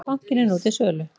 Bankinn er nú til sölu.